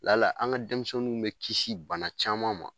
La la an ga denmisɛnnu bɛ kisi bana caman ma.